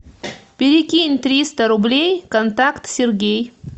перекинь триста рублей контакт сергей